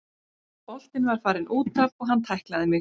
Boltinn var farinn útaf og hann tæklaði mig.